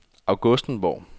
Augustenborg